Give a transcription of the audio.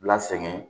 Lasegin